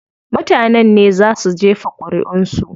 Mutanen ne zaa su jefa ƙuriʼun su.